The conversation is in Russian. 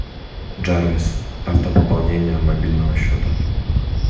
джарвис автопополнение мобильного счета